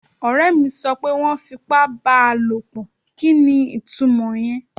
Ọ̀rẹ́ mi sọ pé wọ́n fipá bá a lòpọ̀. Kí ni itúmọ̀ ìyẹn?